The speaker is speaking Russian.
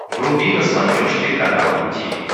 вруби на смотрешке канал ру ти ви